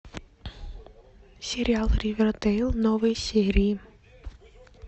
сериал ривердейл новые серии